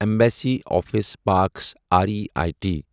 embassy Office Parks R E I T